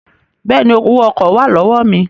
Bẹ́ẹ̀ni, Owó ọkọ̀ wà lọ́wọ́ mi